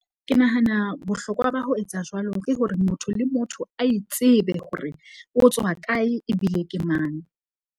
Ke nahana bohlokwa ba ho etsa jwalo ke hore, motho le motho a itsebe hore o tswa kae ebile ke mang.